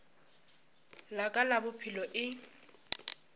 la ka la bophelo e